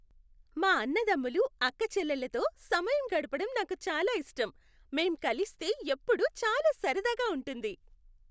మా అన్నదమ్ములు, అక్కచెల్లెళ్ళతో సమయం గడపడం నాకు చాలా ఇష్టం. మేం కలిస్తే ఎప్పుడూ చాలా సరదాగా ఉంటుంది.